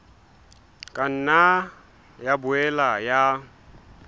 ka nna ya boela ya